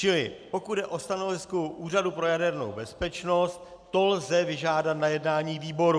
Čili pokud jde o stanovisko Úřadu pro jadernou bezpečnost, to lze vyžádat na jednání výboru.